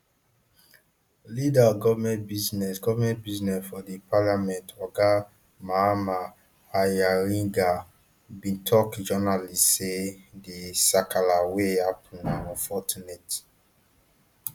leader of goment business goment business for di parliament oga mahama ayarigah bin tok journalists say di sakala wey happun na unfortunate